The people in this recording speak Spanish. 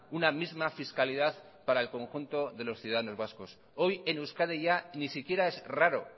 una misma fiscalidad para el conjunto de los ciudadanos vascos hoy en euskadi ya ni siquiera es raro